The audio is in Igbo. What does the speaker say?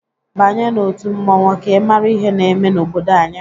Banye n'otu mmọnwụ ka ịmara ihe na-eme n'obodo anyị!